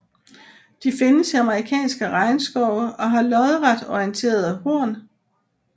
De findes i amerikanske regnskove og har lodret orienterede horn